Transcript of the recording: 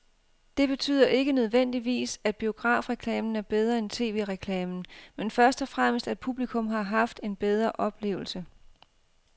Det betyder ikke nødvendigvis, at biografreklamen er bedre end tv-reklamen, men først og fremmest at publikum har haft en bedre oplevelse.